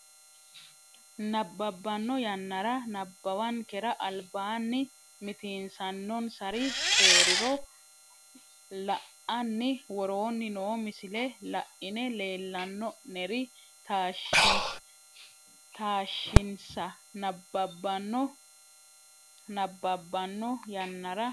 nabbabbanno yannara nabbawankera albaanni mitiinsannonsari hee riro la anni woroonni noo misile la ine leellanno neri taashshinsa nabbabbanno nabbabbanno yannara.